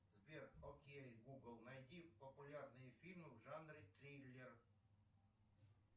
сбер окей гугл найди популярные фильмы в жанре триллер